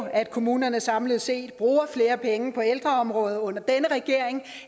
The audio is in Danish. at kommunerne samlet set bruger flere penge på ældreområdet under denne regering